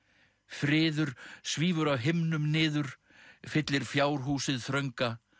friður svífur af himnum niður fyllir fjárhúsið þrönga